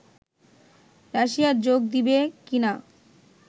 রাশিয়ায় যোগ দিবে কীনা